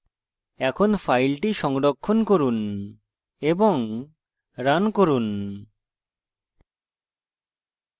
এখন file সংরক্ষণ করুন এবং রান করুন